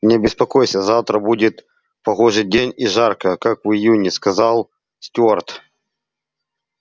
не беспокойся завтра будет погожий день и жарко как в июне сказал стюарт